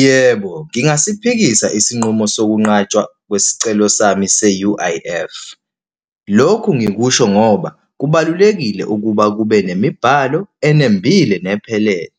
Yebo, ngingaziphikisa isinqumo sokunqatshwa kwesicelo sami se-U_I_F. Lokhu ngikusho ngoba kubalulekile ukuba kube nemibhalo enembile nephelele.